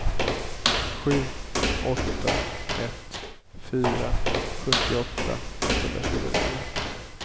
sju åtta ett fyra sjuttioåtta etthundratjugonio